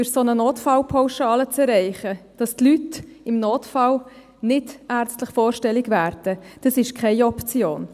Durch eine solche Notfallpauschale eine Lenkung zu erreichen, dass die Leute im Notfall nicht ärztlich vorstellig werden, ist keine Option.